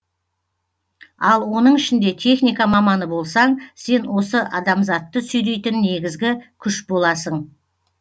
ал оның ішінде техника маманы болсаң сен осы адамзатты сүйрейтін негізгі күш боласың